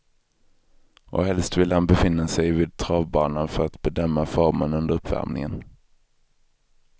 Och helst vill han befinna sig vid travbanan för att bedöma formen under uppvärmningen.